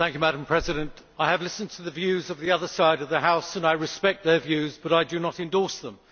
Madam President, I have listened to the views of the other side of the House, and I respect their views, but I do not endorse them.